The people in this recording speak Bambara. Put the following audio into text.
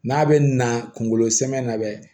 N'a bɛ na kunkolo sɛmɛ na